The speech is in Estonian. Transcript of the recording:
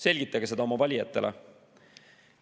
Selgitage seda oma valijatele.